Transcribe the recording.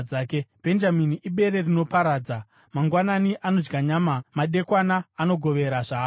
“Bhenjamini ibere rinoparadza; mangwanani anodya nyama, madekwana anogovera zvaapamba.”